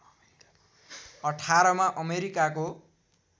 १८ मा अमेरिकाको